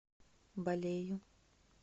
балею